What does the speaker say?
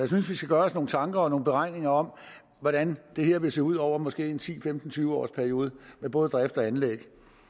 synes vi skal gøre os nogle tanker om og nogle beregninger over hvordan det her vil se ud over måske en ti femten tyve års periode for både drift og anlæg